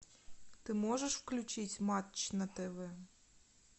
ты можешь включить матч на тв